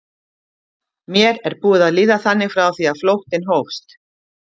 Mér er búið að líða þannig frá því að flóttinn hófst.